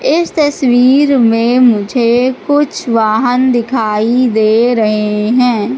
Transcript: इस तस्वीर में मुझे कुछ वाहन दिखाई दे रहे हैं।